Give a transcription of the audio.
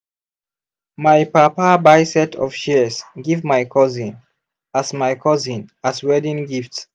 my papa buy set of shears give my cousin as my cousin as wedding gift.